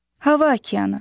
Hava okeanı.